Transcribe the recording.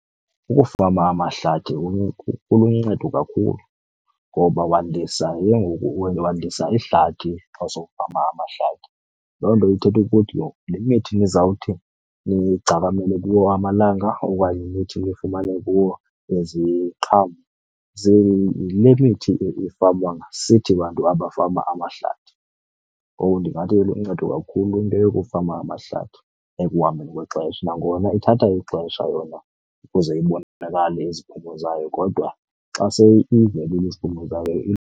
Ukufama amahlathi kuluncedo kakhulu ngoba wandisa ke ngoku wandisa ihlathi xa sowufama amahlathi. Loo nto ithetha ukuthi ke ngoku le mithi nizawuthi nigcakamele kuwo amalanga okanye nithi nifumane kuwo iziqhamo yile mithi efamwa sithi bantu abafama amahlathi. Ngoku ndingathi iluncedo kakhulu into yokufama amahlathi ekuhambeni kwexesha, nangona ithatha ixesha yona ukuze ibonakale iziphumo zayo kodwa xa se ivelile iziphumo zayo .